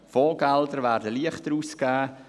Fondsgelder werden leichter ausgegeben;